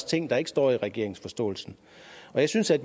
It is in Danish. ting der ikke står i regeringens forståelsespapir jeg synes at